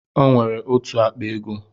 O nwere otu akpa ego